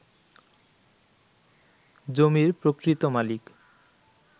জমির প্রকৃত মালিক